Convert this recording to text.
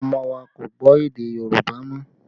Àwọn ọmọ wa kò gbọ́ èdè Yorùbá mọ́